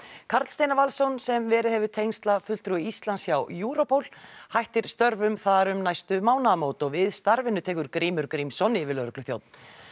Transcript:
Karl Steinar Valsson sem verið hefur tengslafulltrúi Íslands hjá Europol hættir störfum þar um næstu mánaðarmót og við starfinu tekur Grímur Grímsson yfirlögregluþjónn